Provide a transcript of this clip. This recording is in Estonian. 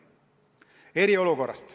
Nüüd eriolukorrast.